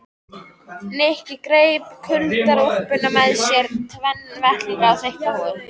Nikki greip kuldaúlpuna með sér, tvenna vettlinga og þykka húfu.